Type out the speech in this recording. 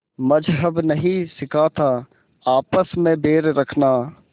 मज़्हब नहीं सिखाता आपस में बैर रखना